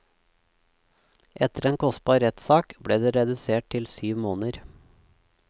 Etter en kostbar rettssak ble det redusert til syv måneder.